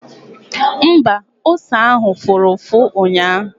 Mba, ose ahụ fụrụ ụfụ ụnyaahụ